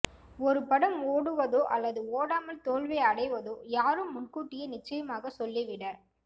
ஒரு படம் ஓடுவதோ அல்லது ஓடாமல் தோல்வியை அடைவதோ யாரும் முன்கூட்டியே நிச்சயமாகச் சொல்லிவிட